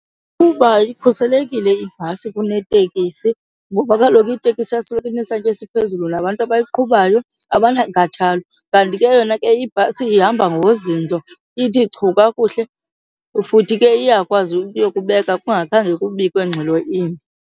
Kuba ikhuselekile ibhasi kunetekisi ngoba kaloku itekisi yasoloko inesantya esiphezulu nabantu abayiqhubayo abanankathalo. Kanti ke yona ke ibhasi ihamba ngozinzo, ithi chu kakuhle futhi ke iyakwazi uyokubeka kungakhange kubikwe ngxelo imbi.